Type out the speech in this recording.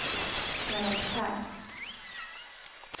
karaktär